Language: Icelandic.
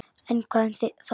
En hvað um það!